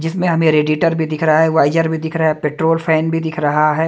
जिसमे हमें रेडिटर भी दिख रहा है वाइजर भी दिख रहा है पेट्रोल फैन भी दिख रहा है।